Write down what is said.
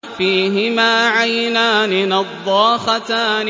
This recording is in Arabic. فِيهِمَا عَيْنَانِ نَضَّاخَتَانِ